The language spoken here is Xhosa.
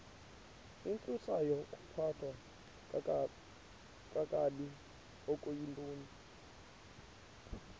intsusayokuphathwa kakabi okuyintoni